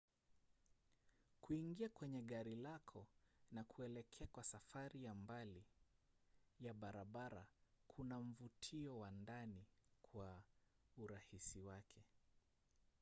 kuingia kwenye gari lako na kuelekea kwa safari ya mbali ya barabara kuna mvutio wa ndani kwa urahisi wake